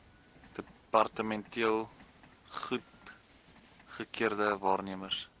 departementeel goedgekeurde waarnemers